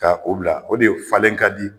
Ka o bila o de falen ka di